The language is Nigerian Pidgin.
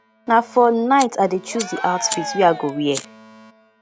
na for night i dey choose di outfit wey i go wear